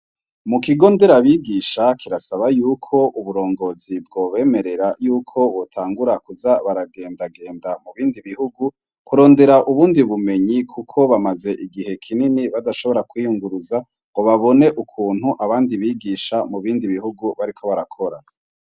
Mu kigo nderabigisha kirasaba yuko uburongozi bwobemerera yuko botangura kuza baragendagenda mu bindi bihugu kurondera ubundi bumenyi kuko bamaze igihe kinini badashobora kwiyunguruza ngo babone ukuntu abandi bigisha mu bindi bihugu bariko barakora.